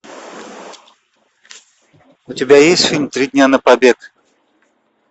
у тебя есть фильм три дня на побег